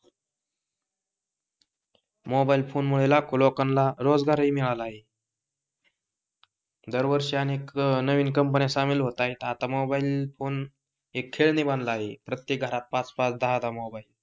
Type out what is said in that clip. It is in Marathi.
मोबाइल फोन मुळ लाखो लोकांना रोजगार हि मिळाला आहे, दरवर्षी अनेक नवीन कंपन्या सामील होत आहेत आता मोबाइल फोन एक खेळणे बनले आहे प्रत्येक घरात पाच पाच दहा दहा मोबाइल.